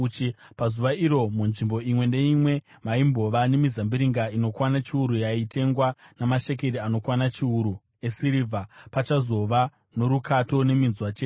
Pazuva iro munzvimbo imwe neimwe maimbova nemizambiringa inokwana chiuru yaitengwa namashekeri anokwana chiuru esirivha, pachazova norukato neminzwa chete.